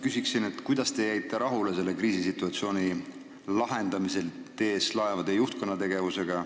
Küsin aga, kuidas te jäite rahule selle kriisisituatsiooni lahendamisel TS Laevade juhtkonna tegevusega.